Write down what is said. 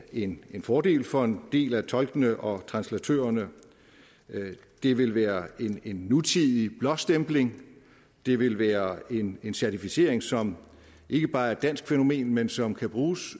en fordel for en del af tolkene og translatørerne det vil være en nutidig blåstempling det vil være en certificering som ikke bare er et dansk fænomen men som kan bruges